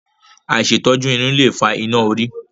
Àìṣètọ́jú irun lè fa iná orí.